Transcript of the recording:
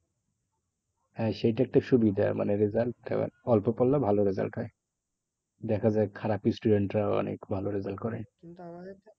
হ্যাঁ সেইটা একটু সুবিধা মানে result অল্প পড়লেও ভালো result হয়। দেখা যায় খারাপ student রাও অনেক ভালো result করে।